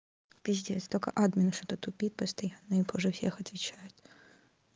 пиздец только админ что-то тупит постоянно и позже всех отвечает